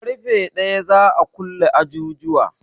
Ƙarfe ɗaya za a kulle ajujuwa